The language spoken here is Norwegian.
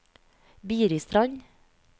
Biristrand